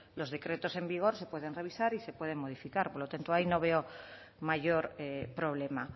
los decretos en vigor se pueden revisar y se pueden modificar por lo tanto ahí no veo mayor problema